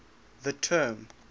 the term